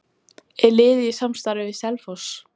Er liðið í samstarfi við Selfoss?